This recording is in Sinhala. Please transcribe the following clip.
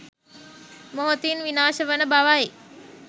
මොහොතින් විනාශවන බවයි.